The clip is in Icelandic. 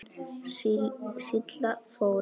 Silla Þóra.